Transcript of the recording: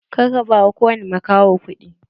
Kar ka ba kowane makaho kuɗi!